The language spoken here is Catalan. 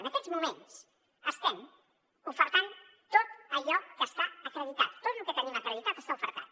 en aquests moments estem oferint tot allò que està acreditat tot lo que tenim acreditat està ofert